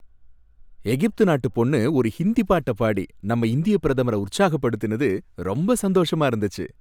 எகிப்து நாட்டு பொண்ணு ஒரு ஹிந்தி பாட்டப் பாடி நம்ம இந்திய பிரதமர உற்சாகப் படுத்தினது ரொம்ப சந்தோஷமா இருந்துச்சு.